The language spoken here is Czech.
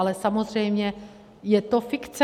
Ale samozřejmě je to fikce.